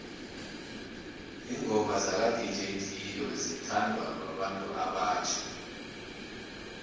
ingoma zaka dj cleo zithondwa babantu obatjha